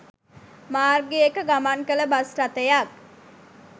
මාර්ගයක ගමන් කළ බස් රථයක්